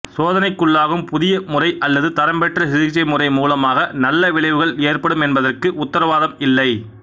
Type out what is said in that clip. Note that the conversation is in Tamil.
சோதனைக்குள்ளாகும் புதிய முறை அல்லது தரம்பெற்ற சிகிச்சை முறை மூலமாக நல்ல விளைவுகள் ஏற்படும் என்பதற்கு உத்திரவாதம் இல்லை